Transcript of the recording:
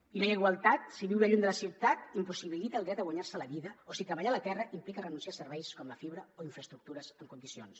i no hi ha igualtat si viure lluny de la ciutat impossibilita el dret a guanyar se la vida o si treballar la terra implica renunciar a serveis com la fibra o a infraestructures en condicions